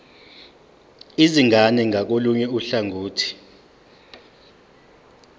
izingane ngakolunye uhlangothi